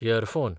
earphone